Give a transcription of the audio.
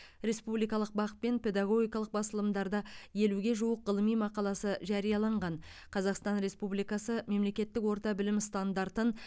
республикалық бақ пен педагогикалық басылымдарда елуге жуық ғылыми мақаласы жарияланған қазақстан республикасы мемлекеттік орта білім стандартын